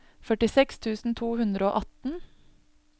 førtiseks tusen to hundre og atten